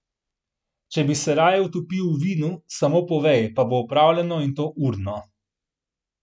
Če bi se raje utopil v vinu, samo povej, pa bo opravljeno, in to urno.